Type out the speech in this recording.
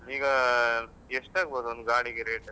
ಈಗ ಎಷ್ಟಾಗ್ಬೋದು ಒಂದು ಗಾಡಿಗೆ rate ?